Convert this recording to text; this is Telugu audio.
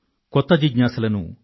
కొత్త జిజ్ఞాసలను సృష్టిస్తారు